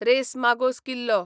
race मागोस किल्लो